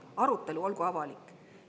Arutelu olgu avalik.